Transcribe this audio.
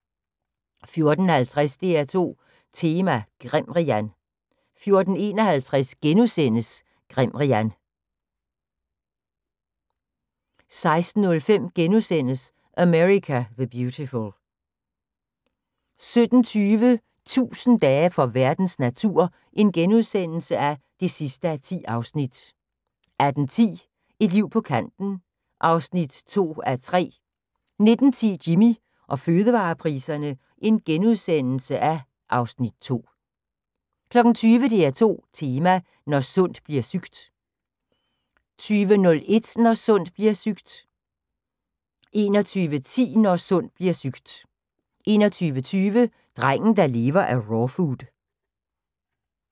14:50: DR2 Tema: Grimrian 14:51: Grimrian * 16:05: America the Beautiful * 17:20: 1000 dage for verdens natur (10:10)* 18:10: Et liv på kanten (2:3) 19:10: Jimmy og fødevarepriserne (Afs. 2)* 20:00: DR2 Tema: Når sundt blir sygt 20:01: Når sundt bliver sygt 21:10: Når sundt bliver sygt 21:20: Drengen der lever af rawfood